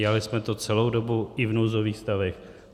Dělali jsme to celou dobu, i v nouzových stavech.